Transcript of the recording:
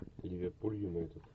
ливерпуль юнайтед